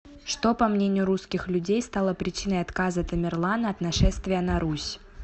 что по мнению русских людей стало причиной отказа тамерлана от нашествия на русь